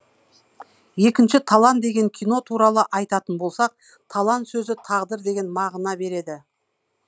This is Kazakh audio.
екінші талан деген кино туралы айтатын болсақ талан сөзі тағдыр деген мағына береді